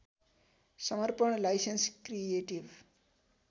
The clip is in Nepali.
समर्पण लाइसेन्स क्रिएटिभ